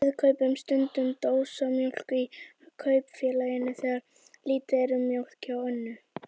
Við kaupum stundum dósamjólk í Kaupfélaginu þegar lítið er um mjólk hjá Önnu.